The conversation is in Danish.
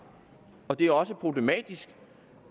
og det er også problematisk